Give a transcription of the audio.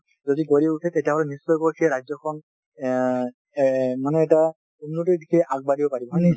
যদি গঢ়ি উঠে তেতিয়া হলে নিশ্চয় কৈ সেই ৰাজ্যখন অ এ মানে এটা উন্নতিৰ দিশে আগবাঢ়িব পাৰিব ।